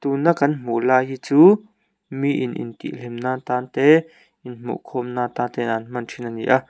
tuna kan hmuh lai hi chu mi in intihhlimnan tan te inhmuh khawm na ta ten an hman thin a ni a.